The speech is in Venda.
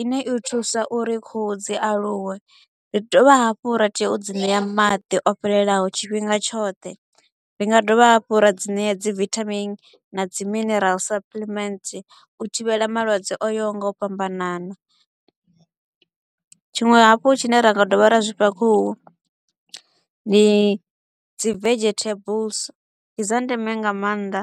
i ne i thusa uri khuhu dzi aluwe. Ri dovha hafhu ra tea u dzi ṋea maḓi o fhelelaho tshifhinga tshoṱhe, ri nga dovha hafhu ra dzi nea dzi vitamin na dzi minerals suppliment u thivhela malwadze o yaho nga u fhambanana. Tshiṅwe hafhu tshi ne ra nga dovha ra zwi fha khuhu, ndi dzi vegetables, ndi dza ndeme nga maanḓa.